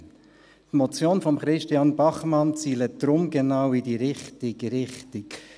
» Die Motion von Christian Bachmann zielt deshalb genau in die richtige Richtung.